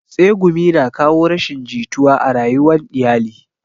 Tsegumi na kawo rashin jituwa a rayuwan iyali